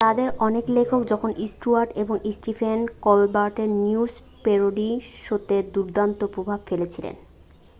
তাদের অনেক লেখক জন স্টুয়ার্ট এবং স্টিফেন কোলবার্টের নিউজ প্যারোডি শোতে দুর্দান্ত প্রভাব ফেলেছিলেন